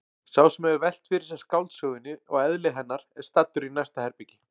Sá sem hefur velt fyrir sér skáldsögunni og eðli hennar er staddur í næsta herbergi.